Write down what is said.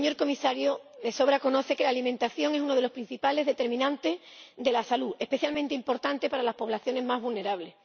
señor Comisario, de sobra conoce que la alimentación es uno de los principales determinantes de la salud, especialmente importante para las poblaciones más vulnerables.